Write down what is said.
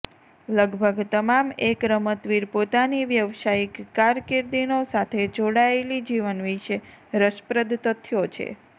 લગભગ તમામ એક રમતવીર પોતાની વ્યાવસાયિક કારકીર્દીનો સાથે જોડાયેલી જીવન વિશે રસપ્રદ તથ્યો છે